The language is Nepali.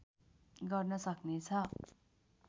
गर्न सक्नेछ